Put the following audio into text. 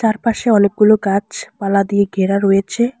চারপাশে অনেকগুলো গাছপালা দিয়ে ঘেরা রয়েছে।